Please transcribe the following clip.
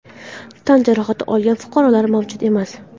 Tan jarohati olgan fuqarolar mavjud emas.